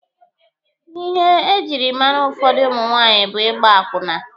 Ihe ejiri mara ụfọdụ ụmụ nwaanyị bụ ịgba akwụna.